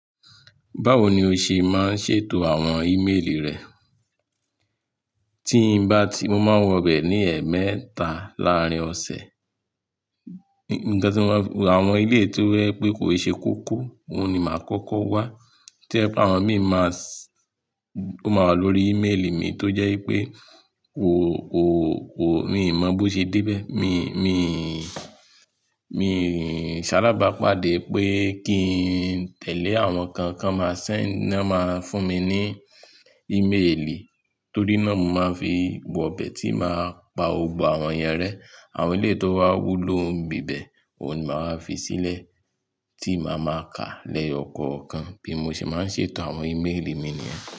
Báwo ni o ṣe máa ń ṣètò àwọn ìméèlì rẹ? Mo máa wọ bẹ̀ ní ẹmẹta láàárín ọ̀sẹ̀, àwọn elé tó jẹ pé kò ṣe kókó, òun ni màá kọ́kọ́ wá. To jẹ̀ pe àwọn míì máa s-- ó máa wà lórí ìméèlì mi tó jẹ́ pé kò, kò, kò, mi ò mọ bí ó ṣe dé bẹ́ẹ̀, mi, mi, mi sálábàá pàdé pé kí n tẹ̀lé àwọn kan kan màá sẹ̀ náà máa fún mi ní ìméèlì tó rí náà mo máa fi wọ bẹ̀ tí màá pa gbogbo àwọn ìyẹ́ rẹ. Àwọn elé tó bá wúlò bíbẹ̀, òun ni màá fi sílẹ̀ tí màá máa ka lẹ́yọ̀ ọ̀kọ̀ọ̀kan. Bí mo ṣe máa ń ṣètò àwọn ìméèlì mi nìyẹn.